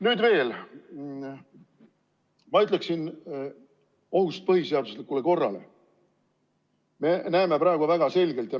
Nüüd veel ohust põhiseaduslikule korrale.